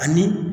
Ani